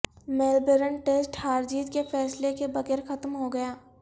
Melbourne test ہار جیت کے فیصلے کے بغیر ختم ہو گیا